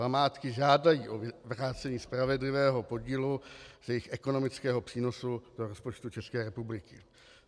Památky žádají o vrácení spravedlivého podílu z jejich ekonomického přínosu do rozpočtu České republiky.